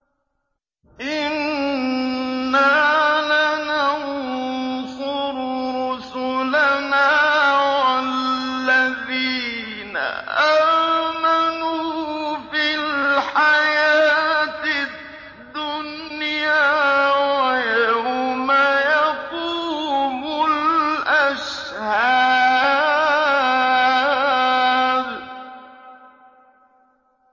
إِنَّا لَنَنصُرُ رُسُلَنَا وَالَّذِينَ آمَنُوا فِي الْحَيَاةِ الدُّنْيَا وَيَوْمَ يَقُومُ الْأَشْهَادُ